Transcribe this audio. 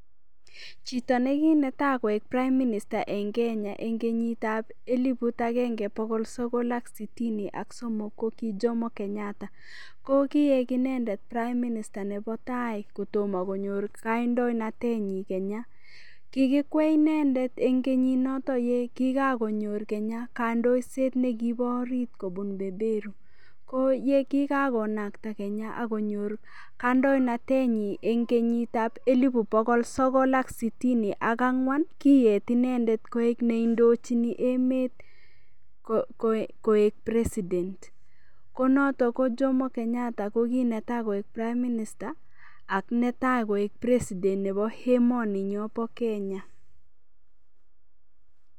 Chito nekinetai koik prime minister en Kenya enkenyitab elibut agenge bokol sokol ak sitini ak somok ko ki Jomo Kenyatta ko koik inendet prime minister nebo tai kotomo konyor kandoinatet nyin Kenya, kikikwai inendet en kenyit noton yekika konyor Kenya konyoiset nekibo orit kobun beberu ko yekikan komakat Kenya ak konyor kandoinatet nyiny en kenyitab elib bokol sokol sitini ak angwan koyet inendet koik neindochinin emet koik president ko noton Jomo Kenyatta ko kinetai koik prime minister ak netai koik president nebo emoninyon bo Kenya.